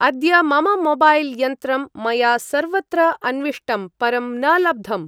अद्य मम मोबैल्-यन्त्रं मया सर्वत्र अन्विष्टं, परं न लब्धम्।